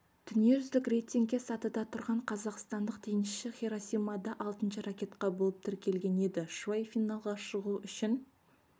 дүниежүзілік рейтингте сатыда тұрған қазақстандық теннисші хиросимада алтыншы ракетка болып тіркелген еді шуай финалға шығу үшін